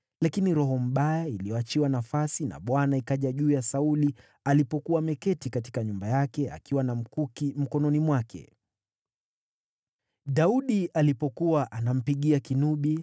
Lakini roho mbaya iliyoachiwa nafasi na Bwana ikaja juu ya Sauli alipokuwa ameketi katika nyumba yake akiwa na mkuki mkononi mwake. Daudi alipokuwa anampigia kinubi,